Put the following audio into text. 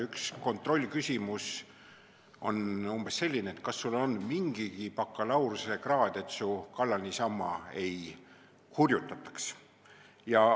Üks kontrollküsimusi on umbes selline, et kas sul on mingigi bakalaureusekraad, et su kallal niisama ei hurjutataks.